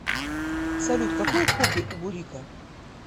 салют какое хобби у бурико